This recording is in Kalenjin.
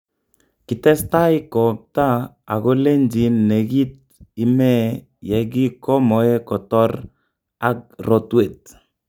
Kitestai koogta, agolenjin negit imee yegikomoe kotor ag rotwet.